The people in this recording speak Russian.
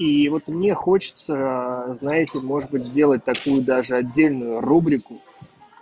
и вот мне хочется знаете может быть сделать такую даже отдельную рубрику